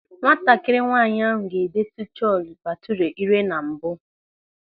Nwatakịrị nwaanyị ahụ ga-edetu Chole Bhature ire na mbụ.